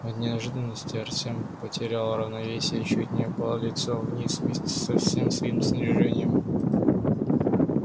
от неожиданности артём потерял равновесие и чуть не упал лицом вниз вместе со всем своим снаряжением